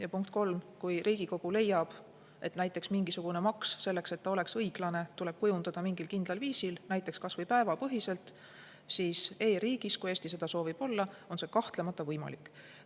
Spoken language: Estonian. Ja punkt kolm: kui Riigikogu leiab, et mingisugune maks, selleks et ta oleks õiglane, tuleb kujundada mingil kindlal viisil, näiteks kas või päevapõhiselt, siis e-riigis, nagu Eesti seda soovib olla, on see kahtlemata võimalik.